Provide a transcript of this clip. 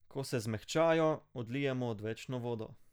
Ko se zmehčajo, odlijemo odvečno vodo.